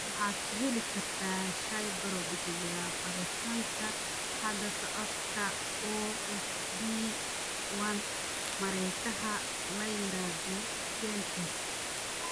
Waxaad ka heli kartaa shaybaarro bixiya baaritaanka hidda-socodka OFD1 mareegaha la yiraahdo GeneTests.